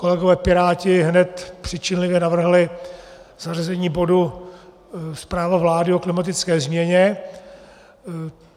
Kolegové piráti hned přičinlivě navrhli zařazení bodu Zpráva vlády o klimatické změně.